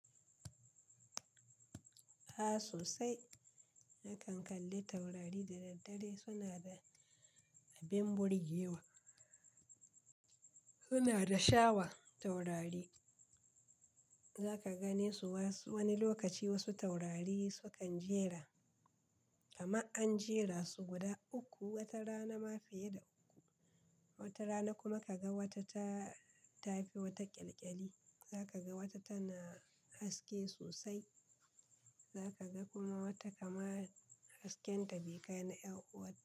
A sosai. Nakan kalli taurari da daddare, suna da abin burgewa. Suna da sha'awa taurari. Za ka gane su wasu wani lokaci wasu taurari sukan jera, kamar an jera su guda uku wata rana ma fiye da uku. Wata rana kuma ka ga wata ta, ta fi wata ƙyalƙyali. Za ka ga wata tana haske sosai. Za ka ga kuma wata kamar hasken ta bai kai na ƴar uwarta.